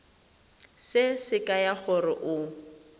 se se kaya gore o